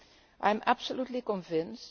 I am absolutely convinced